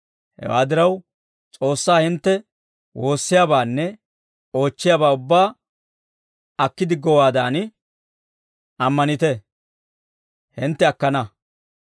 Hewaa diraw, S'oossaa hintte woossiyaabaanne oochchiyaabaa ubbaa akki diggowaadan ammanite; hintte akkana.